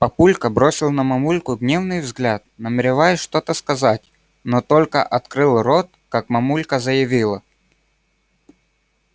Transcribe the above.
папулька бросил на мамульку гневный взгляд намереваясь что-то сказать но только открыл рот как мамулька заявила